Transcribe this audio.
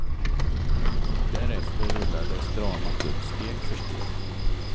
Därefter rullades dramat upp, steg för steg.